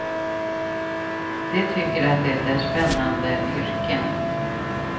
De tycker att det är spännande yrken.